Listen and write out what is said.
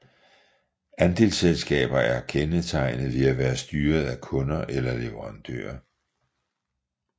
Andelsselskaber er kendetegnet ved at være styret af kunder eller leverandører